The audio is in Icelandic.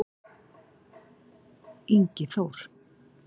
Ingi Þór-